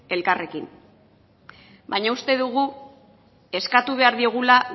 elkarrekin baina uste dugu eskatu behar diogula